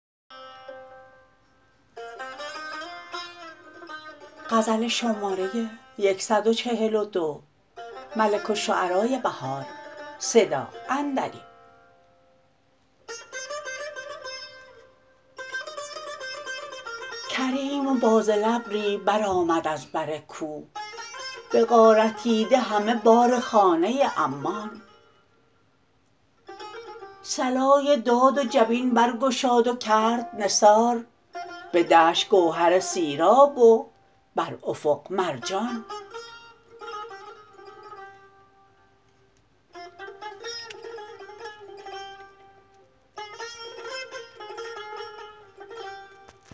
کربم و باذل ابری برآمد از بر کوه بغارتیده همه بار خانه عمان صلای داد و جبین برگشاد و کرد نثار به دشت گوهر سیراب و بر افق مرجان